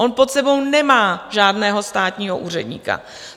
On pod sebou nemá žádného státního úředníka.